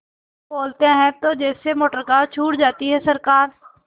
बोलते हैं तो जैसे मोटरकार छूट जाती है सरकार